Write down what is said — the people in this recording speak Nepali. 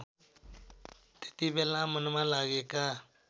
त्यतिबेला मनमा लागेका